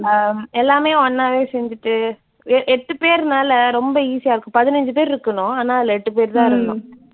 ஹம் எல்லாமே ஒன்னாவே செஞ்சுட்டு எ எட்டு பேர்னால ரொம்ப easy யா இருக்கும். பதினைஞ்சு பேர் இருக்கணும், ஆனா அதுல எட்டு பேர் தான் இருந்தோம்.